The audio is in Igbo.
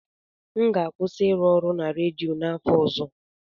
M ga-akwụsị ịrụ ọrụ na redio n'afọ ọzọ.